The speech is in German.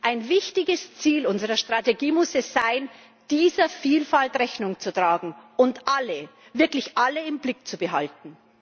Ein wichtiges Ziel unserer Strategie muss es sein, dieser Vielfalt Rechnung zu tragen und alle, wirklich alle, im Blick zu behalten.